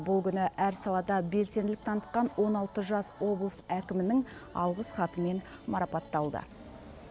бұл күні әр салада белсенділік танытқан он алты жас облыс әкімінің алғыс хатымен марапатталды